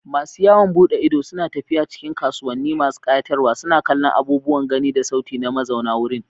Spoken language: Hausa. Masu yawon bude ido suna tafiya cikin kasuwanni masu kayatarwa, suna kallon abubuwan gani da sauti na mazauna wurin.